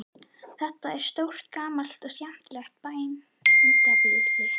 Þetta er stórt gamalt og skemmtilegt bændabýli.